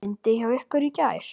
Rigndi hjá ykkur í gær?